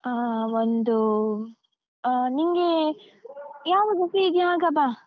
ಆಹ್ ಒಂದೂ ಆಹ್ ನಿಂಗೆ ಯಾವಾಗ free ಇದ್ಯೋ ಆಗ ಬಾ.